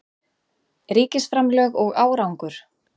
Ríkisframlög og árangur